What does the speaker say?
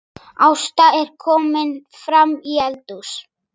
Ásta er komin framí eldhús.